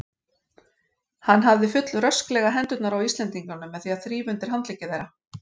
Hann hafði fullrösklega hendurnar á Íslendingunum með því að þrífa undir handleggi þeirra.